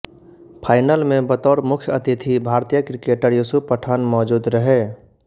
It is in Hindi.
फाइनल में बतौर मुख्य अतिथि भारतीय क्रिकेटर युसूफ पठान मौजूद रहे